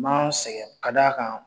Ma n sɛgɛn ka d' a kan